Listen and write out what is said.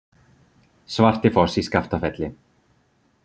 Svartifoss í Skaftafelli.